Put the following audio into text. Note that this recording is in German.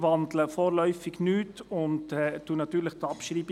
Ich wandle vorläufig nichts und bestreite natürlich die Abschreibung.